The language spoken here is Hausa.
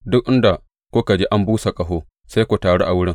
Duk inda kuka ji an busa ƙaho, sai ku taru a wurin.